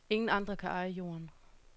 Ingen andre kan eje jorden.